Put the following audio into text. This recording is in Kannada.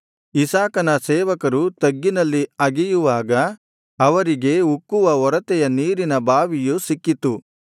ಇಸಾಕನ ಸೇವಕರು ತಗ್ಗಿನಲ್ಲಿ ಅಗೆಯುವಾಗ ಅವರಿಗೆ ಉಕ್ಕುವ ಒರತೆಯ ನೀರಿನ ಬಾವಿಯು ಸಿಕ್ಕಿತು